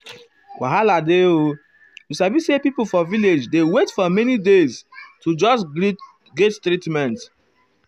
wahala dey o you sabi say pipo for village dey wait for many days to just get treatment.